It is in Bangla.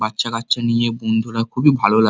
বাচ্চা কাচ্চা নিয়ে বন্ধুরা খুবই ভালো লাগ।